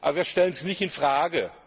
Aber wir stellen das nicht in Frage.